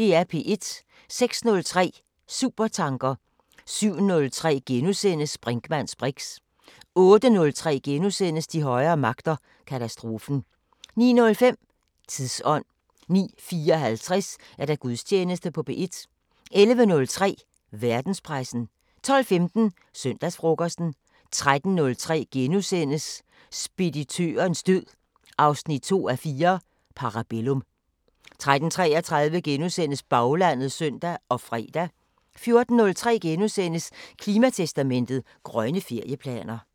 06:03: Supertanker 07:03: Brinkmanns briks * 08:03: De højere magter: Katastrofen * 09:05: Tidsånd 09:54: Gudstjeneste på P1 11:03: Verdenspressen 12:15: Søndagsfrokosten 13:03: Speditørens død 2:4 – Parabellum * 13:33: Baglandet *(søn og fre) 14:03: Klimatestamentet: Grønne ferieplaner *